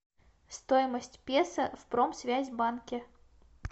стоимость песо в промсвязьбанке